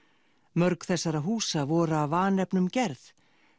mörg þessara húsa voru af vanefnum gerð